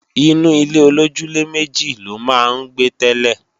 Inú ilé-olójúlé-méjì ló máa ń gbé tẹ́lẹ̀